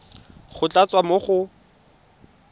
go tla tswa mo go